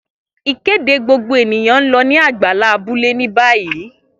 Ikede gbogbo eniyan n lọ ni agbala abule ni bayi.